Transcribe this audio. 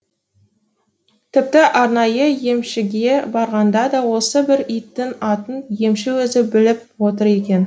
тіпті арнайы емшіге барғанда да осы бір иттің атын емші өзі біліп отыр екен